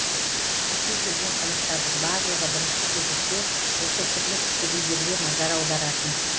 бізге келген қонақтардың барлығы бірінші кезекте осы түрлі түсті гүлдерге назар аударатын